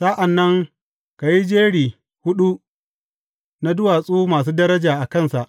Sa’an nan ka yi jeri huɗu na duwatsu masu daraja a kansa.